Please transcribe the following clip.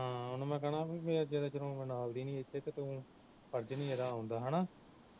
ਹਾਂ ਉਹਨੂੰ ਮੈਂ ਕਹਿਣਾ ਬਈ ਜਦੋਂ ਦੀ ਨਾਲ ਦੀ ਨੀ ਇਥੇ ਤੂੰ ਨੀ ਆਉਦਾ ਹਣਾ